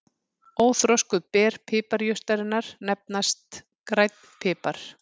Óþroskuð ber piparjurtarinnar nefnast grænn pipar.